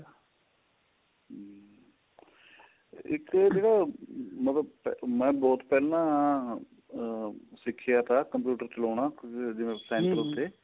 ਇੱਕ ਜਿਹੜਾ ਮਤਲਬ ਮੈਂ ਬਹੁਤ ਪਹਿਲਾਂ ਆਹ ਸਿਖਿਆ ਥਾਂ computer ਚਲਾਉਣਾ ਜਿਵੇਂ center ਤੇ